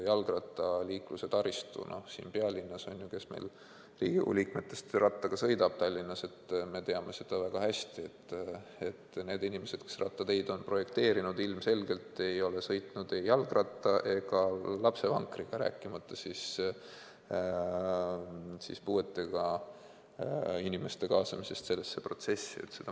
Jalgrattaliikluse taristu pealinnas, – need, kes meil Riigikogu liikmetest sõidavad Tallinnas rattaga – teavad väga hästi, et need inimesed, kes rattateid on projekteerinud, pole ilmselgelt sõitnud ei jalgrattaga ega kärutanud lapsevankrit, rääkimata puuetega inimeste kaasamisest sellesse protsessi.